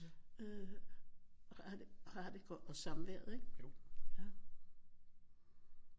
Øh har det og samværet ikke